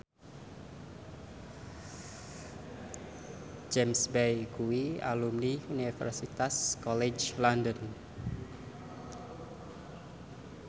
James Bay kuwi alumni Universitas College London